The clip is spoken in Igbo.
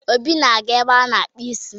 Obi na-aga n'ebe a-na akpuụ isi.